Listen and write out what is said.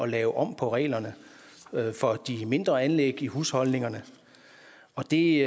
lave om på reglerne for de mindre anlæg i husholdningerne og det